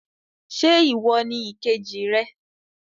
Ṣe iwọ ni ìkejì rẹ?